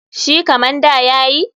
Shi kaman da ya yi?